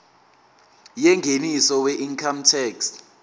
yengeniso weincome tax